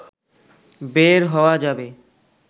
বের হওয়া যাবে